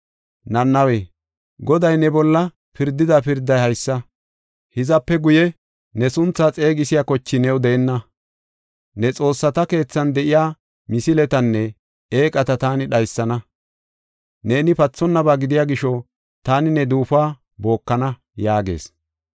Nanawe, Goday ne bolla pirdida pirday haysa: “Hizape guye ne sunthaa xeegisiya koche new deenna. Ne xoossata keethan de7iya misiletanne eeqata taani dhaysana. Neeni pathonnaba gidiya gisho, taani ne duufuwa bookana” yaagees.